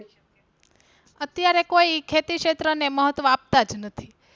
અત્યારે કોઈ ખેતી ક્ષેત્ર ને મહત્વ આપતા જ નથી.